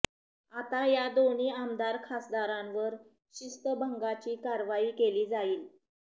आता या दोन्ही आमदार खासदारांवर शिस्तभंगाची कारवाई केली जाईल